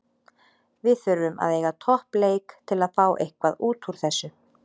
Við þurfum að eiga topp leik til að fá eitthvað útúr þessu.